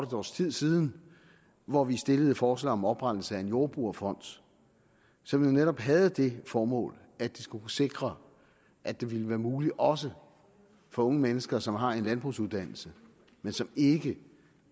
års tid siden hvor vi stillede forslag om oprettelse af en jordbrugerfond som jo netop havde det formål at skulle kunne sikre at det ville være muligt også for unge mennesker som har en landbrugsuddannelse men som ikke